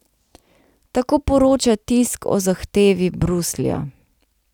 Tako poroča tisk o zahtevi Bruslja.